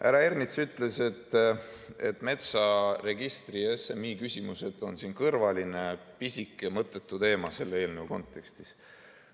Härra Ernits ütles, et metsaregistri SMI küsimused on siin kõrvaline, pisike ja mõttetu teema selle eelnõu kontekstis.